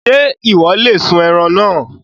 Ṣé Ìwọ́ lè sun ẹran náà?